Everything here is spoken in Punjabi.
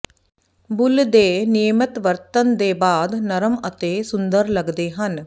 ਬੁੱਲ੍ਹ ਦੇ ਨਿਯਮਤ ਵਰਤਣ ਦੇ ਬਾਅਦ ਨਰਮ ਅਤੇ ਸੁੰਦਰ ਲੱਗਦੇ ਹਨ